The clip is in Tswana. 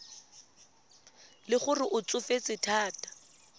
le gore o tsofetse thata